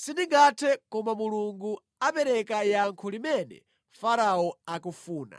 “Sindingathe koma Mulungu apereka yankho limene Farao akufuna.”